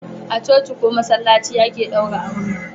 A coci ko masallaci ake daura aure